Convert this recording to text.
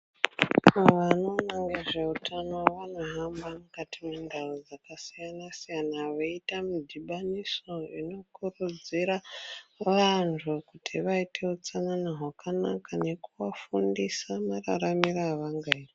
Vanoona nezvehutano vanohamba mukati mendau dzakasiyana siyana veita mudhibaniso unokurudzira vantu kuti vaite hutsanana hwakanaka nekuvafundisa mararamiro avangaita.